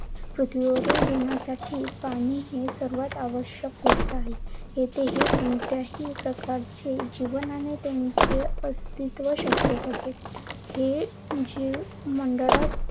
पृथ्वीवरील जिवणसाठी पाणी ही सर्वात आवश्यक गोष्ट आहे. यामुळे कोणतेही प्रकारचे जीवन आणि अस्तित्व शक्य होते. हे जीव मंडळात